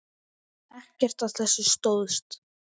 Ekkert af þessu stóðst.